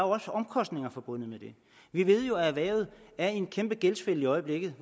også omkostninger forbundet med vi ved jo at erhvervet er i en kæmpe gældsfælde i øjeblikket